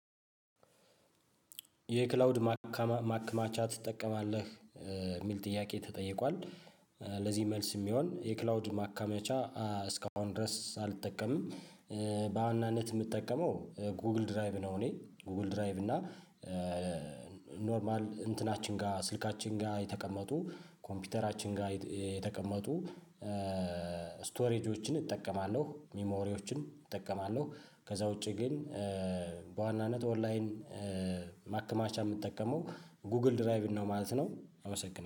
የክላውድ ማክማቻ ትጠቀማለህ የሚል ጥያቄ ተጠይቋል። ለዚህ መልስ የሚሆን የክላውድ ማካመቻ እስካሁን ድረስ አልጠቀምም። በዋናነት የምትጠቀመው ጉግል ድራይቭ ነው። እኔ ጉግል ድራይቭ እና ኖርማል እንትናችን ጋር ስልካችን ጋር የተቀመጡ ኮምፒውተራችን ጋር የተቀመጡ ስቶሬጆችን እጠቀማለሁ ሚሞሪዎችን እጠቀማለሁ። ከዛ ውጪ ግን በዋናነት ኦንላይን ማከማቻ የምጠቀመው ጉግል ድራይቭ ነው ማለት ነው። አመሰግናለሁ